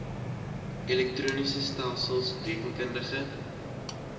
elektroniese stelsels rekeningkundige